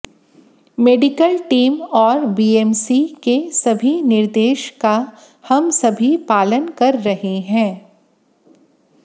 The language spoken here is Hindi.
मेडिकल टीम और बीएमसी के सभी निर्देश का हम सभी पालन कर रहे हैं